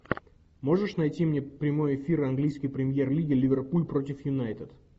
можешь найти мне прямой эфир английской премьер лиги ливерпуль против юнайтед